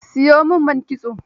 Siyo min man kitso.